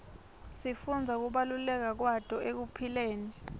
sifundza kubaluleka kwato ekuphileni